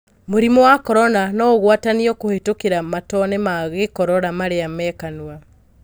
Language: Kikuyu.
Mũrimũ wa Korona noũguatanio kũhetũkĩra matone ma-gĩkorora marĩa mekanua.